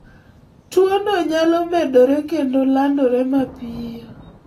Tuo no nyalo medore kendo landore mapiyo